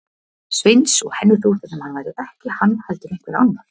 Sveins og henni þótti sem hann væri ekki hann heldur einhver annar.